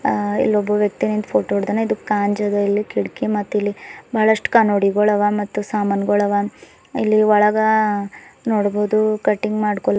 ಆ ಇಲ್ಲೊಬ್ಬ ವ್ಯಕ್ತಿ ನಿಂತ್ ಫೋಟೋ ಹಿಡ್ದಾನ ಇದು ಕಾಂಜದ ಇಲ್ಲಿ ಕಿಟಕಿ ಮತ್ತಿಲ್ಲಿ ಬಹಳಷ್ಟು ಕನ್ನಡಿಗಳವ ಮತ್ತು ಸಾಮಾನ್ಗುಳವ ಇಲ್ಲಿ ಒಳಗ ನೋಡ್ಬಹುದು ಕಟಿಂಗ್ ಮಾಡ್ಕೊಲ್ಲಿ--